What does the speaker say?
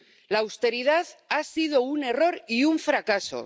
La austeridad ha sido un error y un fracaso.